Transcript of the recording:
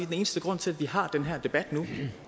den eneste grund til at vi har den her debat